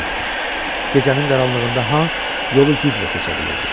Gecənin qaranlığında Hans yolu güclə seçə bilirdi.